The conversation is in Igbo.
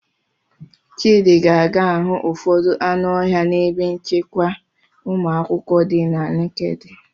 Chidi ga-aga ahụ ụfọdụ anụ ọhịa n'ebe nchekwa ụmụakwụkwọ dị na' Nekede.